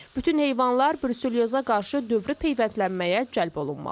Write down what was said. Bütün heyvanlar bruselyoza qarşı dövrü peyvəndlənməyə cəlb olunmalıdır.